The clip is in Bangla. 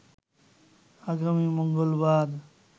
আগামী মঙ্গলবার